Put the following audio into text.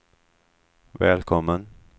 välkommen